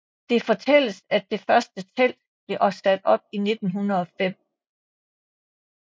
Det fortælles at det første telt blev sat op i 1905